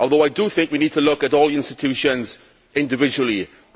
I think we need to look at all the institutions individually, however.